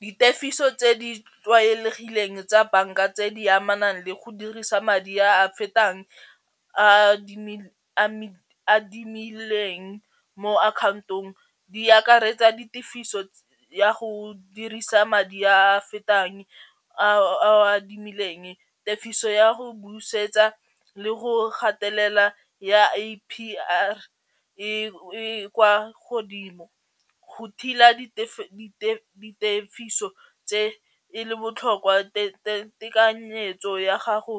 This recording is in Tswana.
Ditefiso tse di tlwaelegileng tsa banka tse di amanang le go dirisa madi a a fetang a a adimileng mo akhaontong di akaretsa di tefiso ya go dirisa madi a fetang a o adimileng tefiso ya go busetsa le go gatelela ya A_P_R e kwa godimo go ditefiso tse e le botlhokwa tekanyetso ya gago